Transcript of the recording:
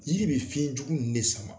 Yiri be fiɲɛjugu ninnu ne sama.